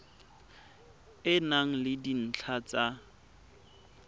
e na le dintlha tsa